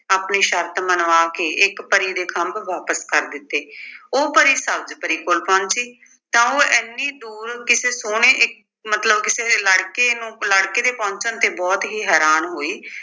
ਆਪਣੀ ਸ਼ਰਤ ਮੰਨਵਾ ਕੇ ਇੱਕ ਪਰੀ ਦੇ ਖੰਭ ਵਾਪਿਸ ਕਰ ਦਿੱਤੇ। ਉਹ ਪਰੀ ਸਬਜ਼ ਪਰੀ ਕੋਲ ਪਹੁੰਚੀ ਤਾਂ ਉਹ ਐਨੀ ਦੂਰ ਕਿਸੇ ਸੋਹਣੇ ਇੱਕ ਮਤਲਬ ਕਿਸੇ ਲੜਕੇ ਨੂੰ ਲੜਕੇ ਦੇ ਪਹੁੰਚਣ ਤੇ ਬਹੁਤ ਹੀ ਹੈਰਾਨ ਹੋਈ